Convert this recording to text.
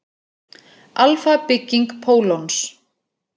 Alfa-bygging pólons.